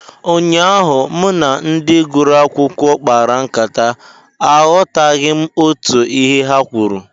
Ụnyaahụ, mụ na ndị gụrụ akwụkwọ kpara nkata, aghọtaghị m otú ihe ha kwuru